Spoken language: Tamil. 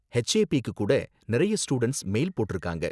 ஹெச்ஏபிக்கு கூட நிறைய ஸ்டூடண்ட்ஸ் மெயில் போட்டிருக்காங்க